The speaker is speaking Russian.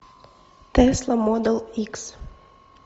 тесла модел икс